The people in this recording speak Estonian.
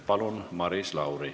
Palun, Maris Lauri!